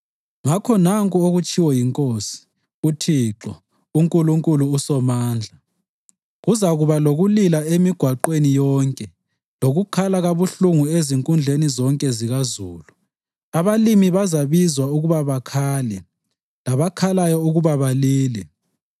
Ngakho nanku okutshiwo yiNkosi, uThixo, uNkulunkulu uSomandla, “Kuzakuba lokulila emigwaqweni yonke lokukhala kabuhlungu ezinkundleni zonke zikazulu. Abalimi bazabizwa ukuba bakhale, labakhalayo ukuba balile.